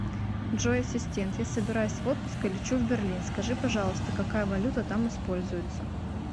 джой ассистент я собираюсь в отпуск и лечу в берлин скажи пожалуйста какая валюта там используется